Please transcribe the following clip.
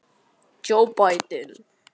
Hver verður kosinn?